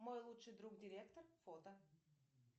мой лучший друг директор фото